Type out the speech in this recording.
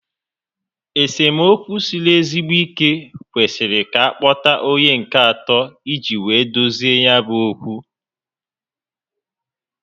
Esemokwu siri ezigbo ike kwesịrị ka a kpota onye nke atọ iji wee dozie ya bu okwu